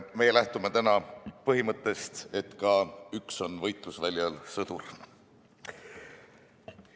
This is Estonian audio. Meie lähtume täna põhimõttest, et ka üks on võitlusväljal sõdur.